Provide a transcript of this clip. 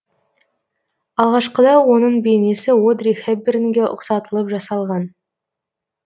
алғашқыда оның бейнесі одри хэпбернге ұқсатылып жасалған